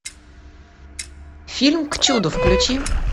фильм к чуду включи